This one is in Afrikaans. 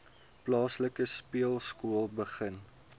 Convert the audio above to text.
plaaslike speelskool begin